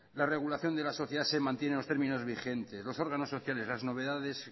la regulación de la sociedad se mantiene en los términos vigentes los órganos sociales las novedades